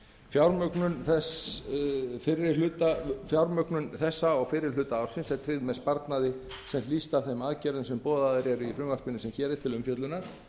fjármögnun þess fyrri hluta ársins er tryggð með sparnaði sem hlýst af þeim aðgerðum sem boðaðar eru í frumvarpinu sem hér er til umfjöllunar